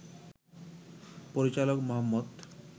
পরিচালক মুহাম্মদ